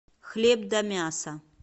хлеб да мясо